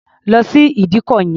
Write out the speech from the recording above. Lọ sí ìdíkọ̀ yẹn!